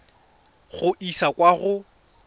go e isa kwa go